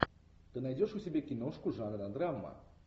ты найдешь у себя киношку жанра драма